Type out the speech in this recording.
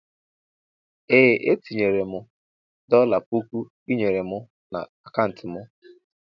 Ee etinyere mụ dola pụkụ ịnyere mụ na akauntu mụ.